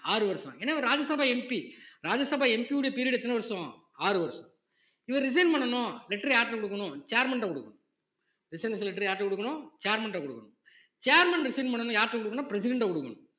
ஆறு வருஷம் ஏன்னா இவர் ராஜ்யசபா MP ராஜ்யசபா MP யோட period எத்தன வருஷம் ஆறு வருஷம் இவர் resign பண்ணணும் letter அ யார்கிட்ட கொடுக்கணும் chairman ட்ட கொடுக்கணும் resignation letter அ யாருகிட்ட கொடுக்கணும் chairman கிட்ட கொடுக்கணும் chairmanresign பண்ணணும் யார்கிட்ட கொடுக்கணும் president அ கொடுக்கணும்